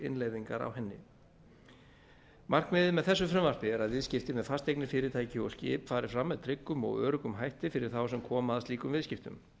innleiðingar á henni markmiðið með þessu frumvarpi er að viðskipti með fasteignir fyrirtæki og skip fari fram með tryggum og öruggum hætti fyrir þá sem koma að slíkum viðskiptum